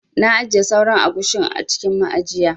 Na ajiye sauran agushin a cikin ma'ajiya.